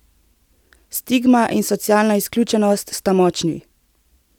Stigma in socialna izključenost sta močni.